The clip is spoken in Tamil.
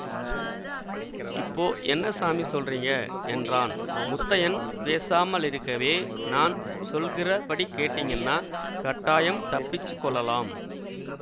இப்போ என்ன சாமி சொல்றீங்க என்றான் முத்தையன் பேசாமலிருக்கவே நான் சொல்கிறபடி கேட்டீங்கன்னா கட்டாயம் தப்பிச்சுக் கொள்ளலாம்